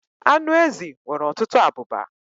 Anụ ezi nwere ọtụtụ abụba.